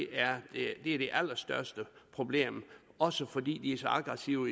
er det allerstørste problem også fordi de er så aggressive